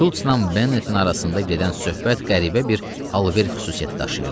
Şulzla Bennetin arasında gedən söhbət qəribə bir alver xüsusiyyəti daşıyırdı.